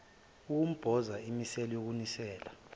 ukumboza imisele yokunisela